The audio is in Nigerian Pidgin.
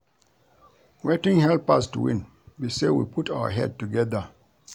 Wetin help us to win be say we put our head together